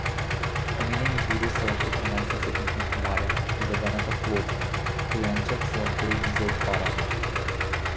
Omenjeni virus se lahko prenese s pikom komarja, prizadene pa plod, dojenček se lahko rodi z okvarami.